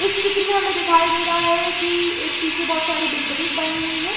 इस चित्र मे हमे दिखाई दे रहा है की एक पीछे बहुत सारी बिल्डिंग्स बनी हुई है ।